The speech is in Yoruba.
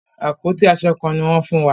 Àpótí aṣọ kán ní wọ́n fún wa.